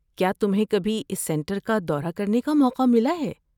کیا تمہیں کبھی اس سنٹر کا دورہ کرنے کا موقع ملا ہے؟